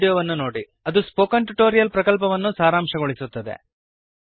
httpspoken tutorialorgWhat is a Spoken Tutorial ಅದು spoken tutorial ಪ್ರಕಲ್ಪವನ್ನು ಸಾರಾಂಶಗೊಳಿಸುತ್ತದೆ